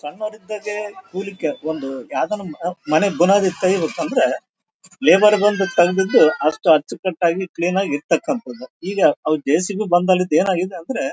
ಸಣ್ಣವರಿದ್ದಾಗೆ ಕೂಲಿ ಕೆ ಒಂದು ಯಾವದೇ ನಮ್ ಒಹ್ ಮನೆ ಬುನಾದಿ ತಗಿಬೇಕು ಅಂದ್ರೆ ಲೇದರ್ ಬೆಲ್ಟ್ ತಂದಿದ್ದು ಅಷ್ಟು ಅಚ್ಚುಕಟ್ಟಾಗಿ ಕ್ವೀನ್ ಆಗಿ ಇಡ್ತಾಕಂತದ್ದು ಈಗ ಅವ್ರ್ ಜೆ.ಸಿ.ಬಿ ಬಂದಾಗ್ಲಿಂದ ಏನಾಗಿದೆ ಅಂದ್ರೆ --